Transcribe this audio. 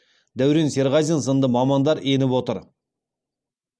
дәурен серғазин сынды мамандар еніп отыр